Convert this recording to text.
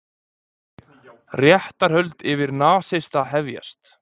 Réttarhöld yfir nasista hefjast